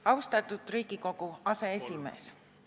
Austatud Riigikogu aseesimees!